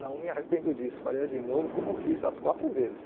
Não me arrependo disso, faria de novo como eu fiz as quatro vezes.